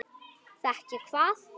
Fékk ég hvað?